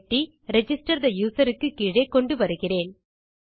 வெட்டி register the user க்கு கீழே கொண்டு வருகிறேன்